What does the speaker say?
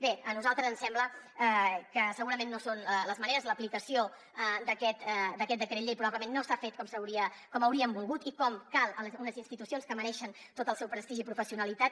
bé a nosaltres ens sembla que segurament no són les maneres l’aplicació d’aquest decret llei probablement no s’ha fet com hauríem volgut i com cal a unes institucions que mereixen tot el seu prestigi i professionalitat